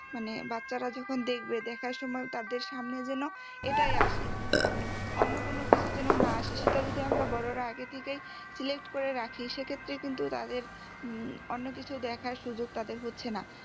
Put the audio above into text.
মানে বাচ্ছারা যখন দেখবে দেখার সময়ও তাদের সামনে যেন এটাই আসে মানে অন্য কোনো কিছু যেন না আসে সেটা যদি আমরা বড়রা আগে থেকেই select করেই রাখি সেক্ষেত্রে কিন্তু তাদের উম অন্য কিছু দেখার সুযোগ তাদের হচ্ছেনা